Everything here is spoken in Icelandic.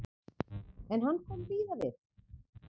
En hann kom víða við.